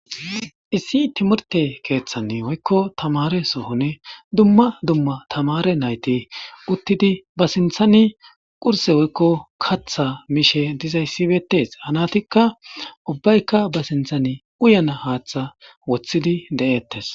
Issi timirte keethani woykko tamare sohoni dumma dumma tamaare nayti uttidi ba sinththani qursse woykko kaththa mishe dizayssi beetees ha naytikka ubbaykka ba sinththani uyana haatha woththidi de'etees.